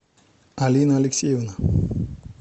алина алексеевна